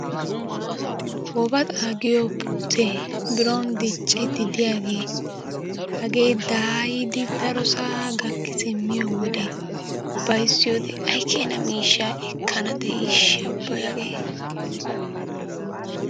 Wobaxa giyo puute biro diccidi diyaage hage daayidi daoosaa gakki simmiyodde hayzziyoode ay keena miishsha ekaa diishsha ubbay hagee.